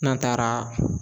N'an taara